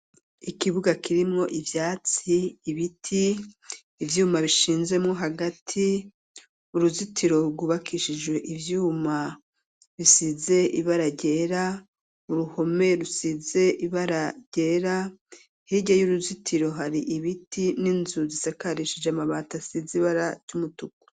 Ikibuga kirimwo ivyatsi, ibiti, ivyuma bishinzemo hagati uruzitiro rwubakishijwe ivyuma bisize ibara ryera uruhome rusize ibara ryera hirya y'uruzitiro hari ibiti n'inzu zisakarishije amabati asizibara ritukura.